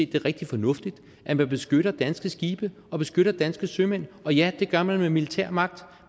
det er rigtig fornuftigt at man beskytter danske skibe og beskytter danske sømænd og ja det gør man med militær magt